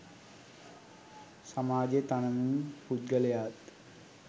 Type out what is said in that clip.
සමාජය තනමින් පුද්ගලයාත්